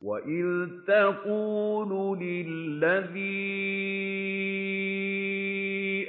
وَإِذْ تَقُولُ لِلَّذِي